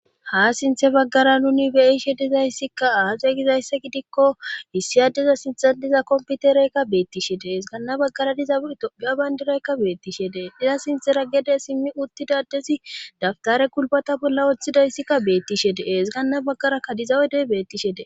Ha sinthe baggara nuni beyishe dizayssikka aaxe gizayssa gidikko issi adeza sintxan diza komputereykka beettishe dees gaanna baggara dizadoia bayndiraykka beettishe dee diza sinthera gede simmi uttidadezi daftare kulbata bolla woththidayssikka beettishe deees gaanna baggara kadizawedey bettishe dee..